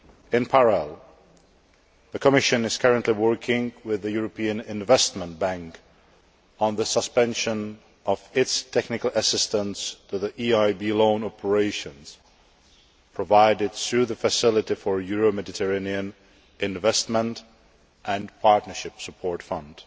In parallel, the Commission is currently working with the European Investment Bank on the suspension of its technical assistance to the EIB loan operations provided through the Facility for Euro Mediterranean Investment and Partnership support fund.